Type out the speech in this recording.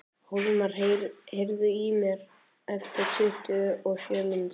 Hólmar, heyrðu í mér eftir tuttugu og sjö mínútur.